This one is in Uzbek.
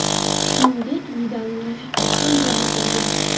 Shuningdek, Vidalning rafiqasi ham jabr ko‘rgan.